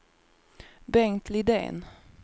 Bengt Lidén